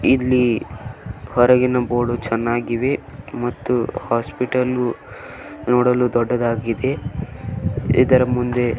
ಇಲ್ಲಿ ಹೊರಗಿನ ಬೋರ್ಡ್ ಚೆನ್ನಾಗಿದೆ ಮತ್ತು ಹಾಸ್ಪಿಟಲ್ ನೋಡಲು ದೊಡ್ಡದಾಗಿದೆ ಇದರ ಮುಂದೆ --